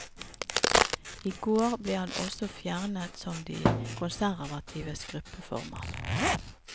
I går ble han også fjernet som de konservatives gruppeformann.